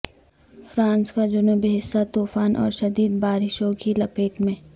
France کا جنوبی حصہ طوفان اور شدید بارشوں کی لپیٹ میں